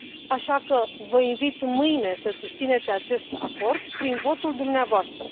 Așa că vă invit, mâine, să susțineți acest acord prin votul dumneavoastră.